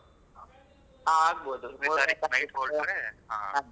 ಹ ಆಗಬಹುದು. ಮೂರನೇ ತಾರಿಕ್ night ಹೊರಟ್ರೆ, ಹಾ.